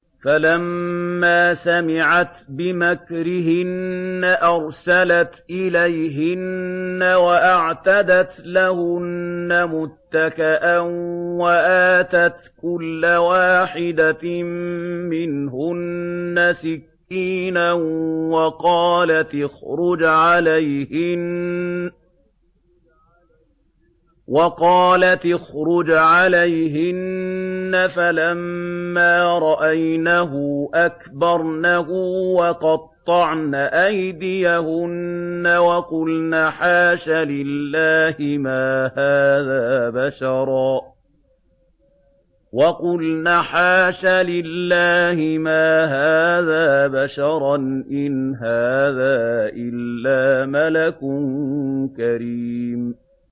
فَلَمَّا سَمِعَتْ بِمَكْرِهِنَّ أَرْسَلَتْ إِلَيْهِنَّ وَأَعْتَدَتْ لَهُنَّ مُتَّكَأً وَآتَتْ كُلَّ وَاحِدَةٍ مِّنْهُنَّ سِكِّينًا وَقَالَتِ اخْرُجْ عَلَيْهِنَّ ۖ فَلَمَّا رَأَيْنَهُ أَكْبَرْنَهُ وَقَطَّعْنَ أَيْدِيَهُنَّ وَقُلْنَ حَاشَ لِلَّهِ مَا هَٰذَا بَشَرًا إِنْ هَٰذَا إِلَّا مَلَكٌ كَرِيمٌ